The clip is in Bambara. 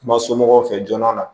Kuma somɔgɔw fɛ joona